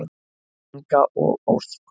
Inga og Ósk.